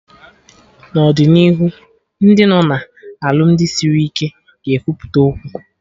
N'ọdịnihu Ndị nọ na alụmdi sịrị ike ga ekwupụta okwu